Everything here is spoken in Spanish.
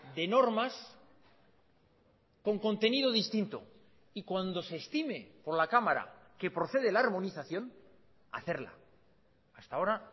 de normas con contenido distinto y cuando se estime por la cámara que procede la armonización hacerla hasta ahora